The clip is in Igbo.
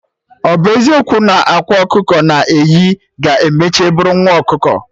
Ọbụ eziokwu na ọ akwa ka ọkụkọ na-eyi, ga-emecha bụrụ nwa ọkụkọ?